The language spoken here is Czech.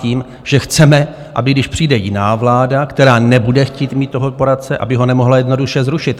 Tím, že chceme, aby, když přijde jiná vláda, která nebude chtít mít toho poradce, aby ho nemohla jednoduše zrušit.